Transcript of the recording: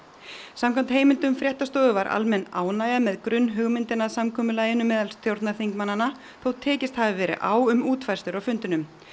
samkvæmt heimildum fréttastofu var almenn ánægja með grunnhugmyndina að samkomulaginu meðal stjórnarþingmannanna þótt tekist hafi verið á um útfærslur á fundinum